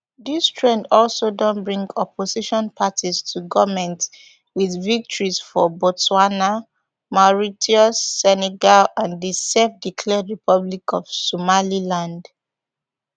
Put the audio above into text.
dis trend also don bring opposition parties to goment wit victories for botswana mauritius senegal and the selfdeclared republic of somaliland